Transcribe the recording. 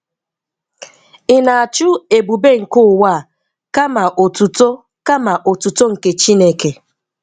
Ị na-achụ ebube nke ụwa a kama otuto kama otuto nke Chineke?